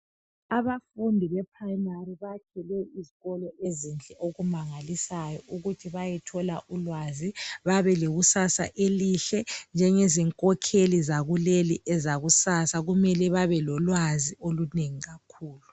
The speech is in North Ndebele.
Abafundi be primary bakhelwe izikolo ezinhle okumangalisayo ukuthi bayethola ulwazi babe lekusasa elihle njengezi nkokheli zakuleli ezakusasa kumele babe lolwazi olunengi kakhulu ..